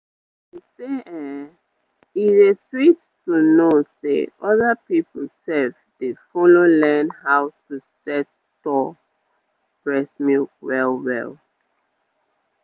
i say[um]e dey sweet to know say other people sef dey follow learn how to set store breast milk well well.